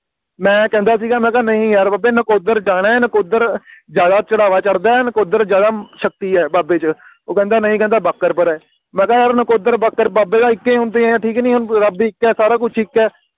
ਮੈਂ ਕਹਿੰਦਾ ਸੀਗਾ ਨਹੀਂ ਮੈਂ ਕਿਹਾ ਨਹੀਂ ਯਾਰ ਬਾਬੇ ਨਕੋਦਰ ਜਾਣਾ ਏ ਨਕੋਦਰ ਜ਼ਿਆਦਾ ਚੜ੍ਹਾਵਾ ਚੜ੍ਹਦਾ ਏ ਜ਼ਿਆਦਾ ਸ਼ਕਤੀ ਆ ਬਾਬੇ ਚ ਉਹ ਕਹਿੰਦਾ ਨਹੀਂ ਕਹਿੰਦਾ ਭਖ਼ਰਪੁਰ ਮੈਂ ਕਿਹਾ ਯਾਰ ਨਕੋਦਰ ਭਾਖੜਪੁਰ ਬਾਬੇ ਤਾ ਏਕੋ ਹੁੰਦੇ ਆ ਠੀਕ ਨੀ ਹੁਣ ਰੱਬ ਦੀ ਇੱਛਾ ਸਾਰਾ ਕੁਛ ਠੀਕ ਏ